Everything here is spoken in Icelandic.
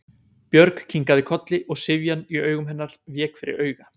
Björg kinkaði kolli og syfjan í augum hennar vék fyrir áhuga.